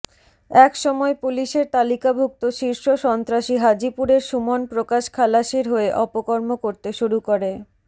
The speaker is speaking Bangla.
এক সময় পুলিশের তালিকাভুক্ত শীর্ষ সন্ত্রাসী হাজীপুরের সুমন প্রকাশ খালাশির হয়ে অপকর্ম করতে শুরু করে